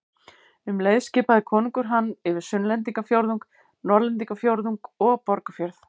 Um leið skipaði konungur hann yfir Sunnlendingafjórðung, Norðlendingafjórðung og Borgarfjörð.